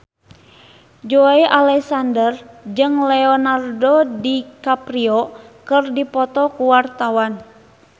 Joey Alexander jeung Leonardo DiCaprio keur dipoto ku wartawan